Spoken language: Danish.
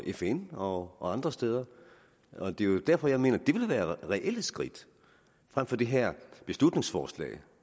fn og andre steder det er jo derfor jeg mener at det ville være reelle skridt frem for det her beslutningsforslag